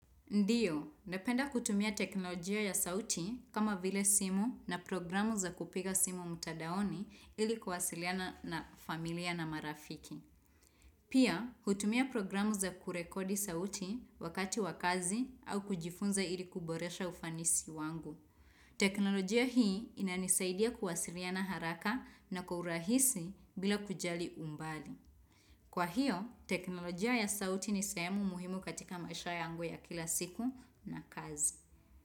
Ndiyo napenda kutumia teknolojia ya sauti kama vile simu na programu za kupiga simu mtadaoni ili kwasiliana na familia na marafiki Pia hutumia programu za kurekodi sauti wakati wakazi au kujifunza ili kuboresha ufanisi wangu teknolojia hii inanisaidia kuwasiliana haraka na kwa urahisi bila kujali umbali Kwa hiyo teknolojia ya sauti ni sehemu muhimu katika maisha yangu ya kila siku na kazi.